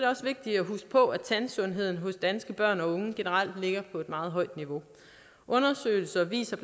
også vigtigt at huske på at tandsundheden hos danske børn og unge generelt ligger på et meget højt niveau undersøgelser viser